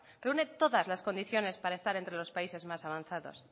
que une todas las condiciones para estar entre los países más avanzados